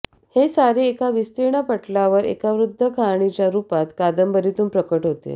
हे सारे एका विस्तीर्ण पटलावर एका बृहद् कहाणीच्या रूपात या कादंबरीतून प्रकट होते